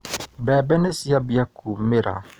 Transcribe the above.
Mbembe niciambia kumĩra.